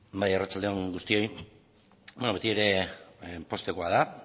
bai arratsalde on guztioi beti ere poztekoa da